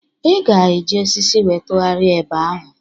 Ị ga-eji osisi wee tụgharịa eba ahụ